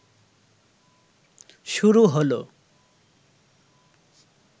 শুরু হলো